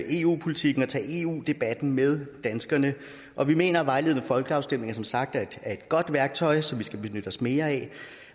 eu politikken og tage eu debatten med danskerne og vi mener at vejledende folkeafstemninger som sagt er et godt værktøj som vi skal benytte os mere af